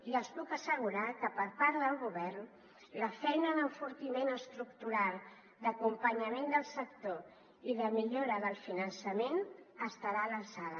i els puc assegurar que per part del govern la feina d’enfortiment estructu·ral d’acompanyament del sector i de millora del finançament estarà a l’alçada